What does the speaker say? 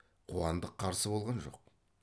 қуандық қарсы болған жоқ